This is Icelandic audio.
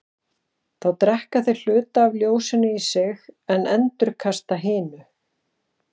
Þá drekka þeir hluta af ljósinu í sig en endurkasta hinu.